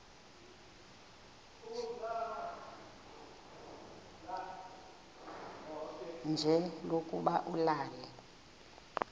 nje lokuba ulale